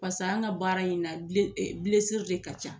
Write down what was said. an ka baara in na de ka ca